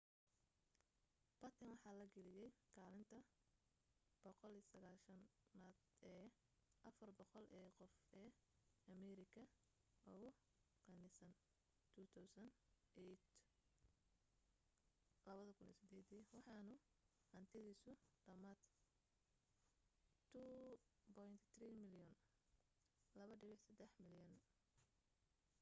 batten waxa la geliyay kaalinta 190aad ee 400 ee qof ee ameerika ugu qanisan 2008 dii waxaanu hantidiisu dhammayd $2.3 bilyan